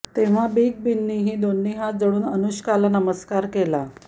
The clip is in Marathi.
तेव्हा बिग बींनीही दोन्ही हात जोडून अनुष्काला नमस्कार केला